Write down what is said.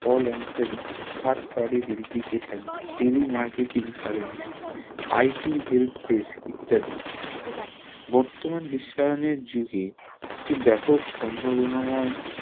call answering third party verification TV marketing service IT helpdesk ইত্যাদি বর্তমান বিশ্বায়নের যুগে একটি ব্যাপক সম্ভাবনাময়